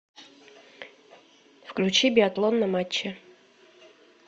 включи биатлон на матче